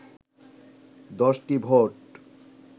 ১০টি ভোট